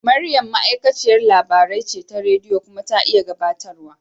Maryam ma'aikaciyar labarai ce ta rediyo kuma ta iya gabatarwa.